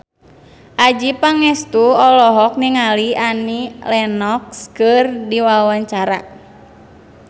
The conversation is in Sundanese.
Adjie Pangestu olohok ningali Annie Lenox keur diwawancara